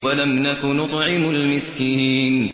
وَلَمْ نَكُ نُطْعِمُ الْمِسْكِينَ